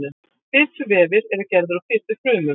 fituvefir eru gerðir úr fitufrumum